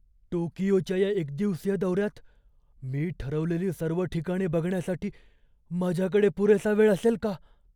टोकियोच्या या एकदिवसीय दौऱ्यात मी ठरवलेली सर्व ठिकाणे बघण्यासाठी माझ्याकडे पुरेसा वेळ असेल का?